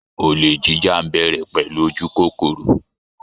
Olè jíjà ń bẹ̀rẹ̀ pẹ̀lú ojú kókóró